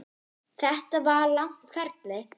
Þetta var langt ferli.